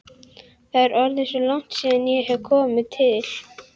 Það er orðið svo langt síðan ég hef komið til